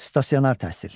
Stasionar təhsil.